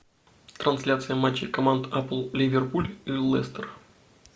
трансляция матчей команд апл ливерпуль и лестер